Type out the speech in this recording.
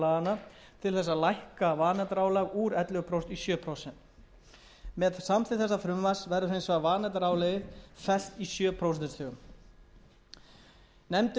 að lækka vanefndaálag úr ellefu prósent í sjö prósent með samþykkt þessa frumvarps verður vanefndaálagið hins vegar fest í sjö prósentustigum nefndin